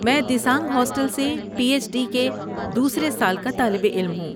میں دیسانگ ہاسٹل سے P H D کے دوسرے سال کا طالب علم ہوں۔